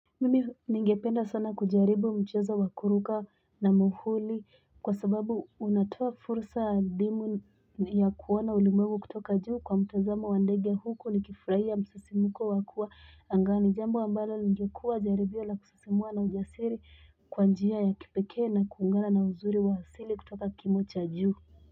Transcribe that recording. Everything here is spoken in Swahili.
Mimi ningependa sana kujaribu mchezo wakuruka na muhuli kwa sababu unatoa fursa ya kuona ulimwengu kutoka juu kwa mtazamo wandege huku ni kifurahia msisimuko wakua angani jambo ambalo ni ya kuwa jaribio la kusisimua na ujasiri kwa njia ya kipekee na kuungana na uzuri wa asili kutoka kimo cha juu.